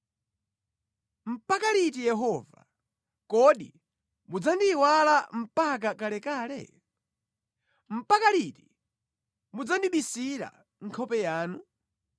Mpaka liti Yehova? Kodi mudzandiyiwala mpaka kalekale? Mpaka liti mudzandibisira nkhope yanu?